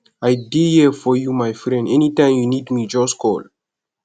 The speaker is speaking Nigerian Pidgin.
i dey here for you my friend anytime you need me just call